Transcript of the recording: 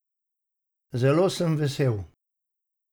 Zelo sem vesel!